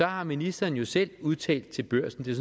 har ministeren jo selv udtalt til børsen det